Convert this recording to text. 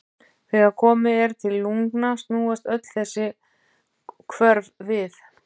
Þegar komið er til lungna snúast öll þessi hvörf við.